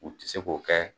U tɛ se k'o kɛ